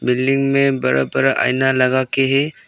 Building में बड़ा बड़ा आईना लगाके है।